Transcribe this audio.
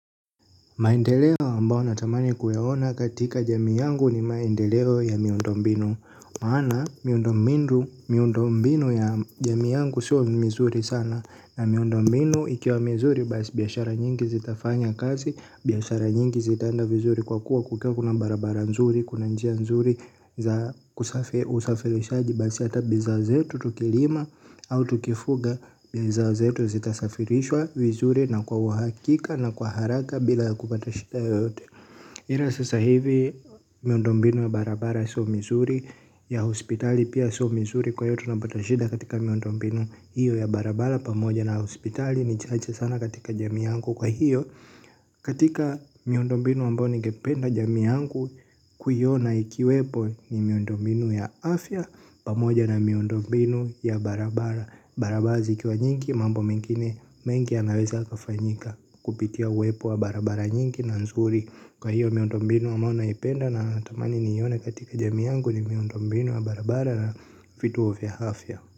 Maendeleo ambao natamani kuyaona katika jamii yangu ni maendeleo ya miundombinu. Maana miundombinu ya jamii yangu siyo mizuri sana. Na miundombinu ikiwa mizuri basi biashara nyingi zitafanya kazi. Biashara nyingi zitaenda vizuri kwa kuwa kukiwa kuna barabara nzuri. Kuna njia nzuri za usafirishaji basi ata bidhaa zetu tukilima au tukifuga bidhaa zetu zitasafirishwa vizuri na kwa uhakika na kwa haraka bila kupata shida yote. Ila sasa hivi miundombinu ya barabara so mizuri ya hospitali pia so mizuri kwa hivyo tunapata shida katika miundombinu. Hiyo ya barabara pamoja na hospitali ni chache sana katika jamii yangu kwa hiyo. Katika miundombinu ambayo ningependa jamii yangu kuiona ikiwepo ni miundombinu ya afya pamoja na miundombinu ya barabara. Barabara zikiwa nyingi mambo mingine mengi yanaweza kafanyika kupitia uwepo wa barabara nyingi na nzuri. Kwa hiyo miundombinu ambayo naipenda natamani nione katika jamii yangu ni miundombinu ya barabara na vitu vya afya.